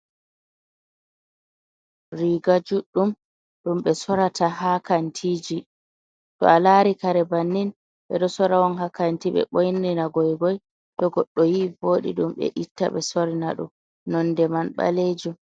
Riga juɗɗum, ɗum ɓe sorata ha kantiji. To a lari kare bannin, ɓe ɗo sora on ha kanti, ɓe ɓorni na goigoi to goɗɗo yi'i voɗi ɗum ɓe itta ɓe sorna ɗum. Nonde man ɓalejum.